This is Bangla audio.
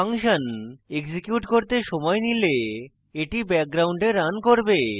ফাংশন execute করতে সময় নিলে এটি background রান হবে